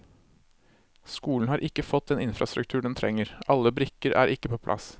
Skolen har ikke fått den infrastruktur den trenger, alle brikker er ikke på plass.